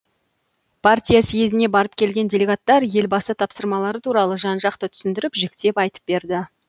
партия съезіне барып келген делегаттар елбасы тапсырмалары туралы жан жақты түсіндіріп жіктеп айтып берді